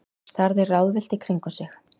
Starði ráðvillt í kringum sig.